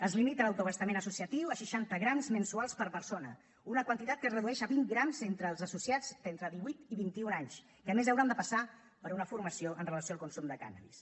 es limita l’autoabastament associatiu a seixanta grams mensuals per persona una quantitat que es redueix a vint grams entre els associats d’entre divuit i vint i un anys que a més hauran de passar per una formació amb relació al consum de cànnabis